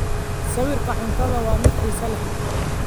Sawirka cuntadu waa mid xiiso leh.